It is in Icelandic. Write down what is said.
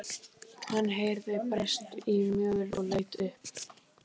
Hann heyrði bresta í möl og leit upp.